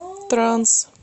транс